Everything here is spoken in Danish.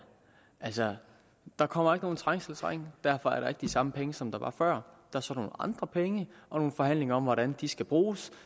altså der kommer ikke nogen trængselsring og derfor er der ikke de samme penge som der var før der er så nogle andre penge og nogle forhandlinger om hvordan de skal bruges